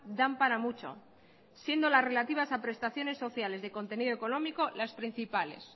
dan para mucho siendo las relativas a prestaciones sociales de contenido económico las principales